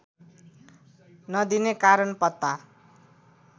नदिने कारण पत्ता